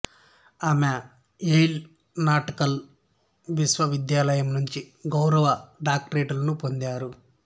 ఆమె Yale Natal విశ్వవిద్యాలయం నుంచి గౌరవ డాక్టరేట్లను పొందారు